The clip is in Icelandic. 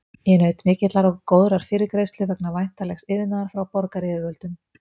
Ég naut mikillar og góðrar fyrirgreiðslu vegna væntanlegs iðnaðar frá borgaryfirvöldum.